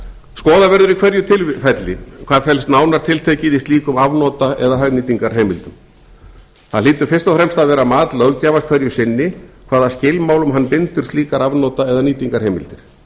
skoða verður í hverju tilfelli hvað felst nánar tiltekið í slíkum afnota eða hagnýtingarheimildum það hlýtur fyrst og fremst að vera mat löggjafans hverju sinni hvaða skilmálum hann bindur slíkar afnota eða nýtingarheimildir